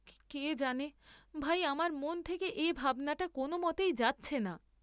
কে জানে, ভাই আমার মন থেকে এ ভাবনাটা কোন মতেই যাচ্ছে না।